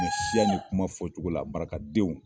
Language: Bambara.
Siya nin kuma fɔcogo la barakadenw.